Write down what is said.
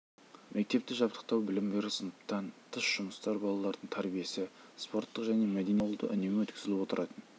мектепті жабдықтау білім беру сыныптан тыс жұмыстар балалардың тәрбиесі спорттық және мәдени шаралар шағын ауылда үнемі өткізіліп отыратын